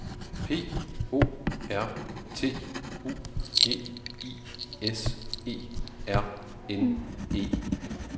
P O R T U G I S E R N E